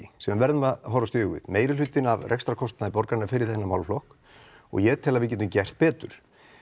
sem við verðum að horfast í augu við meginhlutinn af rekstrarkostnaði borgarinnar fyrir þennan málaflokk og ég tel að við getum gert betur